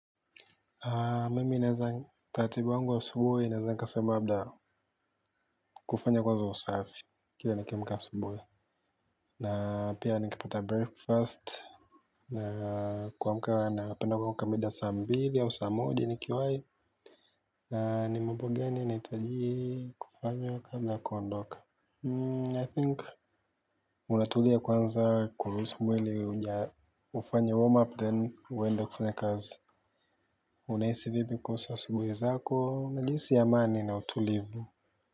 Mimi naeza taratibu wangu wa asubuhi inaeza nikasema labda kufanya kwanzo usafi. Kila nikiamka asubuhi. Na pia nikipata breakfast. Na kuamka napenda kuamka mida ya saa mbili au saa moja nikiwai. Ni mambo gani inahitaji kufanywa kabla ya kuondoka I think. Unatulia kwanza kuruhusu mwili ufanye warm-up then uende kufanya kazi. Unahisi vipi kuhusu asubuhi zako, najihisi amani na utulivu.